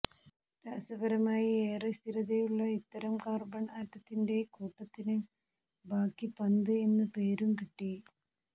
രാസപരമായി ഏറെ സ്ഥിരതയുള്ള ഇത്തരം കാർബൺ ആറ്റത്തിന്റെ കൂട്ടത്തിന് ബക്കി പന്ത് എന്ന പേരും കിട്ടി